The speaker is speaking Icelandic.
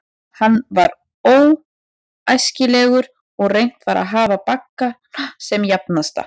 Hann var óæskilegur, og reynt var að hafa baggana sem jafnasta.